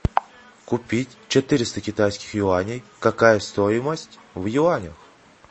купить четыреста китайских юаней какая стоимость в юанях